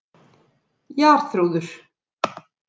Jarþrúður